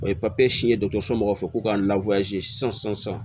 O ye si ye mɔgɔw fɛ k'u ka sisan